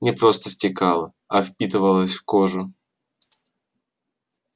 не просто стекала а впитывалась в кожу